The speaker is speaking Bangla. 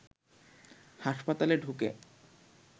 হাসপাতালে ঢুকে